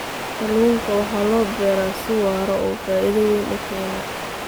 Kalluunka waxaa loo beeraa si waara oo faa'iido weyn u keena.